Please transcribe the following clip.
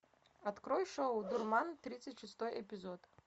открой шоу дурман тридцать шестой эпизод